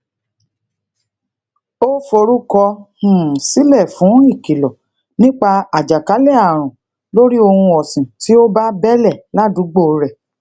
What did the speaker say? ó forúkọ um sílè fún ìkìlò nípa ajakale àrùn lori ohun òsìn ti o ba bele ládùúgbò rè